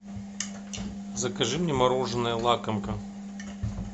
закажи мне мороженое лакомка